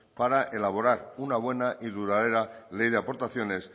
para elaborar una buena y duradera ley de aportaciones